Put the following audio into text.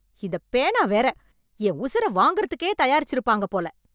இந்தப் பேனா வேற... என் உசுர வாங்குறதுக்கே தயாரிச்சிருப்பாங்க போல!